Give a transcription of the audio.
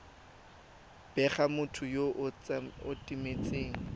bega motho yo o timetseng